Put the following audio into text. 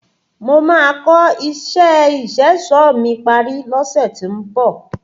Mo màá kò isé ìṣẹ̀ṣọ̀ mi parí lọ́sẹ̀ tí ń bọ̀.